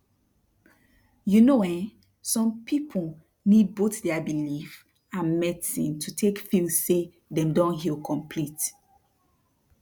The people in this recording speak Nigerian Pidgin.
you know eeh som people need both their belief and medicine to tak feel say dem don heal complete